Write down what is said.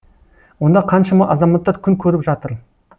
онда қаншама азаматтар күн көріп жатыр